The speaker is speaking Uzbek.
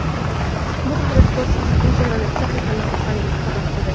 Bu haqda sportchi Instagram’dagi sahifasi orqali xabar qildi.